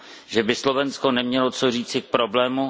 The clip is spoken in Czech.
Že by Slovensko nemělo co říci k problému?